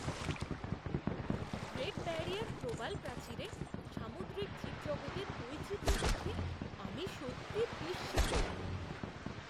Great Barrier প্রবাল প্রাচীরে সামুদ্রিক জীবজগতের বৈচিত্র্য দেখে আমি সত্যিই বিস্মিত।